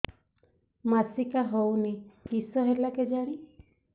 ମାସିକା ହଉନି କିଶ ହେଲା କେଜାଣି